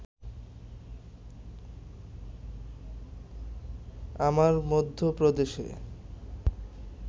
আমার মধ্যপ্রদেশে